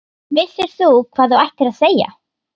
Vissir þú hvað þú ættir að segja?